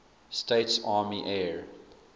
states army air